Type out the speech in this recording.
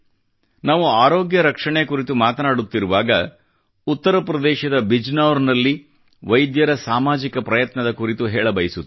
ನಾವು ಆರೋಗ್ಯ ರಕ್ಷಣೆ ಕುರಿತು ಮಾತನಾಡುತಿರುವಾಗ ಉತ್ತರ ಪ್ರದೇಶದ ಬಿಜನೌರ್ ನಲ್ಲಿ ವೈದ್ಯರ ಸಾಮಾಜಿಕ ಪ್ರಯತ್ನದ ಕುರಿತು ಹೇಳ ಬಯಸುತ್ತೇನೆ